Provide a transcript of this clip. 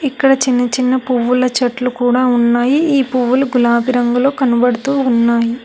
ఇక్కడ చిన్న చిన్న పువ్వుల చెట్లు కూడా ఉన్నాయి ఈ పువ్వులు గులాబి రంగులో కనబడుతూ ఉన్నాయి.